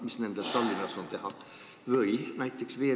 Mis nendel on Tallinnas teha?